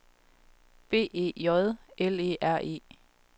B E J L E R E